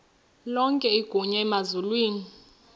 lonke igunya emazulwini